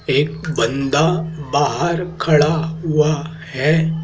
एक बंदा बाहर खड़ा हुआ है।